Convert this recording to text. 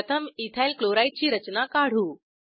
प्रथम ethyl chloride ची रचना काढू